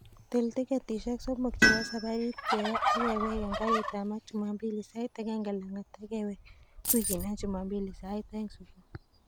Til tiketishek somok chebo sabarit keba ak kewek en garit ab maat jumambili sait agenge langat ak kewek wikinon jumambili sait oeng subui